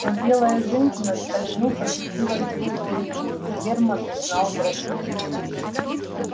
но белая женщина скользнув очутилась вдруг перед ним и германн узнал графиню